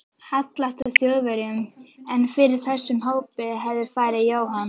hallast að Þjóðverjum, en fyrir þessum hópi hefði farið Jóhann